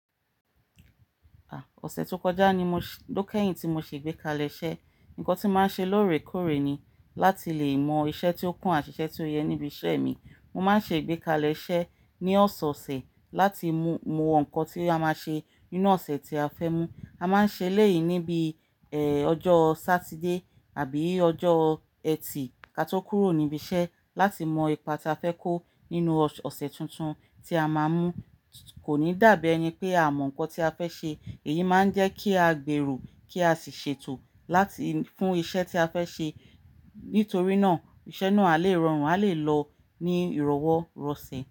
À, ọ̀sẹ̀ tó kọjá ni mo, ló kẹ́yìn tí mo ṣe ìgbékalẹ̀ iṣẹ́. Ǹkan tí màá ń ṣe lóòrèkóòrè ni láti lè mọ iṣẹ́ tí ó kún àṣìṣe tí ó yẹ níbi iṣẹ́ mi. Mo máa ń ṣe ìgbékalẹ̀ iṣẹ́ ní ọ̀sọ̀ọ̀sẹ̀ láti mu mọ ǹkan tí a máa ṣe nínú ọ̀sẹ̀ tí a fẹ́ mú. A máa ń ṣe elẹ́yì níbi, ọjọ́ Sátidé àbí ọjọ́ ẹtì ká tó kúrò níbi iṣẹ́ láti mọ ipa tí a fẹ́ kó nínú ọ̀sẹ̀ tuntun tí a máa mú. Kò ní dàbí ẹni pé a mọ ǹkan tí a fẹ́ ṣe. Èyí máa ń jẹ́ kí a gbèro kí a sì ṣètò láti fún iṣẹ́ tí a fẹ́ ṣe. Nítorí náà iṣẹ́ náà a lè rọrùn, a lè lọ ní ìrọwọ́ rọ̀sẹ̀